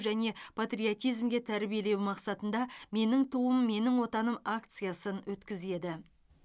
және патриотизмге тәрбиелеу мақсатында менің туым менің отаным акциясын өткізеді